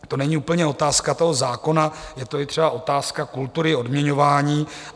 To není úplně otázka toho zákona, je to i třeba otázka kultury odměňování.